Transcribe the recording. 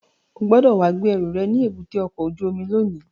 O gbọ́dọ̀ wá gbé ẹrù rẹ̀ ní èbúté ọkọ̀ ojú omi lónìí!